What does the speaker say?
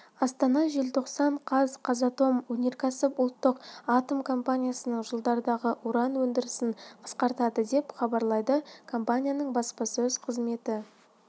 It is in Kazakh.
астана желтоқсан қаз қазатом өнеркәсіп ұлттық атом компаниясы жылдардағы уран өндірісін қысқартады деп хабарлайды компанияның баспасөз қызметі